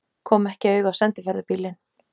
Kom ekki auga á sendiferðabílinn.